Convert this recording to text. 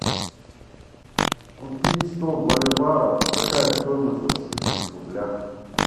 купить сто боливаров какая стоимость в российских рублях